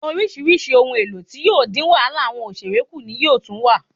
Orísirísi ohun èlò tí yóò dín wàhálà awọn òṣèré ku ni yóò tún wà